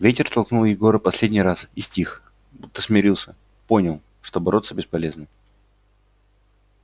ветер толкнул егора последний раз и стих будто смирился понял что бороться бесполезно